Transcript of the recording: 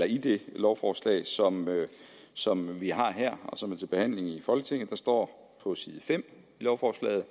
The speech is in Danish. i det lovforslag som som vi har her og som er til behandling i folketinget det står på side fem i lovforslaget